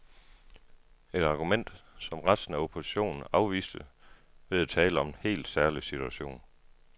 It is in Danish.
Et argument, som resten af oppositionen afviste ved at tale om en helt særlig situation.